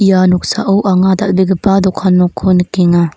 ia noksao anga dal·begipa dokan nokko nikenga.